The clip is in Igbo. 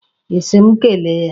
Ị sị m kele ya.